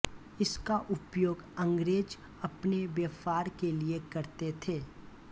इसका उपयोग अंग्रेज़ अपने व्यापार के लिए करते थे